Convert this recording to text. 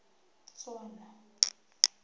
tswana